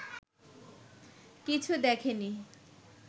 কিছু দেখে নি